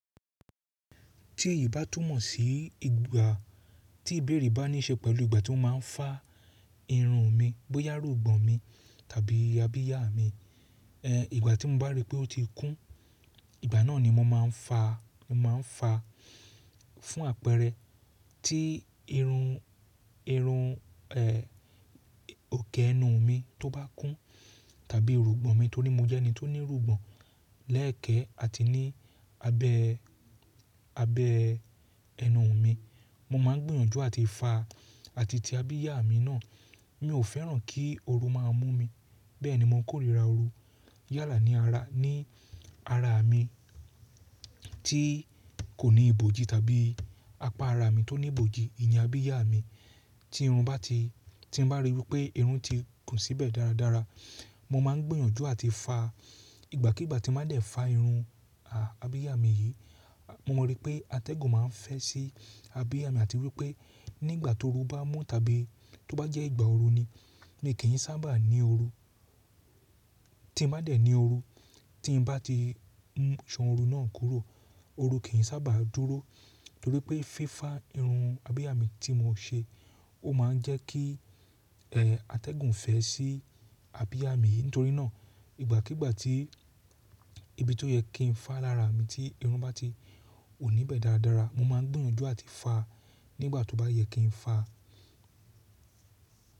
Tí èyí bá túmọ̀ sí ìgbà tí ìbéèrè bá níí ṣe pẹ̀lú ìgbà tí ó má a ń fá irun mi, bóyá rúgbọn mi tàbí abíyá mi, eh ìgbà tí mo bá rí pé ó ti kún, ìgbà náà ni mo máa ń fa, mo máa ń fa fún àpẹẹrẹ tí irun, irun eh òkè ẹnu mi tó bá kún tàbí rúgbọn mi torí mo jẹ́ ẹni tó ní rúgbọn lẹ́ẹ̀kẹ́ àti ní abẹ́, abẹ́ ẹnu mi. Mo má a ń gbìyànjú àti fa àti ti abíyá mi náà, mi ò fẹ́ràn kí ooru máa mú mi, bẹ́ẹ̀ ni mo kórìíra ooru yálà ní ara, ní ara mi tí kò ní ibojì tàbí apá ara mi tó ní ibojì, ní abíyá mi tí irun bá ti, tí mo bá rí pé irun ti kùn síbẹ̀ dáradára, mo má a ń gbìyànjú àti fa. Ìgbàkígbà tí mo bá dẹ̀ fá irun a abíyá mi yìí, mo mọ rí pé atẹ́gùn máa ń fẹ́ sí abíyá mi àti wípé nígbà tí ooru bá mú tàbí tó bá jẹ́ ìgbà ooru ni, ni kì í sábà ní ooru. Tí mo bá dẹ̀ ní ooru, tí mo bá ti ń sọ ooru náà kúrò, ooru kì í sábà dúró torí pé fífa irun abíyá mi tí mo n ṣe ó máa ń jẹ́ kí eh atẹ́gùn fẹ́ sí abíyá mi. Nítorí náà ìgbàkígbà tí ibi tó yẹ kí n fá lára mi tí irun bá ti wu ní bẹ́ẹ̀ dáradára, mo má a ń gbìyànjú àti fa nígbà tó bá yẹ kí n fá.